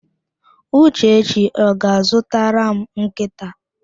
Uchechi ọ ga-azụtara m nkịta?